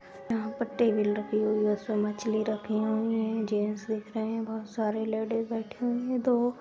यहाँ पर टेबल रखी हुई है उसमे मछली रखी हुई है जेंट्स दिख रहे है बहोत सारे लेडिस बैठी हुई है दो--